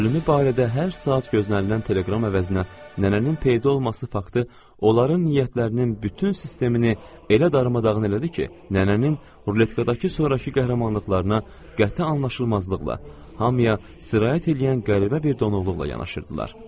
Ölümü barədə hər saat gözlənilən teleqram əvəzinə nənənin peyda olması faktı onların niyyətlərinin bütün sistemini elə darmadağın elədi ki, nənənin ruletkadakı sonrakı qəhrəmanlıqlarına qəti anlaşıqsızlıqla, hamıya sirayət eləyən qəribə bir donuquluqla yanaşırdılar.